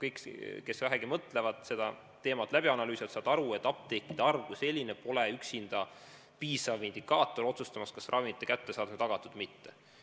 Kõik, kes vähegi mõtlevad ja seda teemat analüüsivad, saavad aru, et apteekide arv kui selline pole üksinda piisav indikaator otsustamaks, kas ravimite kättesaadavus on tagatud või mitte.